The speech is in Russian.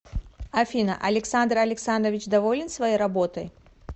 афина александр александрович доволен своей работой